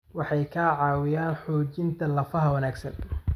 Waxay ka caawiyaan xoojinta lafaha wanaagsan.